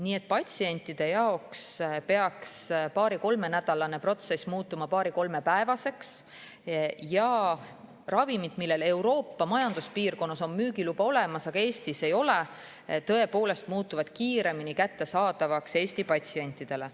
Nii et patsientide jaoks peaks paari-kolmenädalane protsess muutuma paari-kolmepäevaseks ja ravimid, millel Euroopa Majanduspiirkonnas on müügiluba olemas, aga Eestis seda ei ole, muutuvad kiiremini kättesaadavaks Eesti patsientidele.